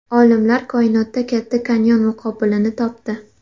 Olimlar koinotda Katta kanyon muqobilini topdi.